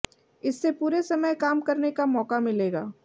इससे पूरे समय काम करने का मौका मिलेगा